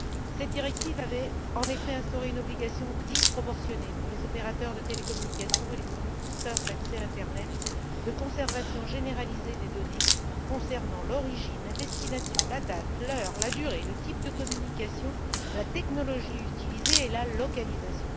Cette directive avait, en effet, instauré une obligation disproportionnée, pour les opérateurs de télécommunications et les fournisseurs d'accès à l'internet, de conservation généralisée des données concernant l'origine, la destination, la date, l'heure, la durée, le type de communication, la technologie utilisée et la localisation.